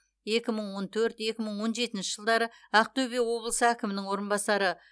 екі мың он төрт екі мың он жетінші жылдары ақтөбе облысы әкімінің орынбасары